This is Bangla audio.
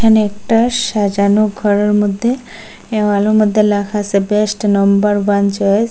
একটা সাজানো ঘরের মধ্যে দেয়ালের মধ্যে লেখা আসে বেস্ট নাম্বার ওয়ান চয়েস ।